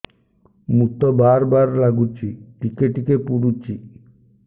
ମୁତ ବାର୍ ବାର୍ ଲାଗୁଚି ଟିକେ ଟିକେ ପୁଡୁଚି